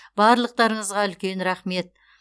барлықтарыңызға үлкен рахмет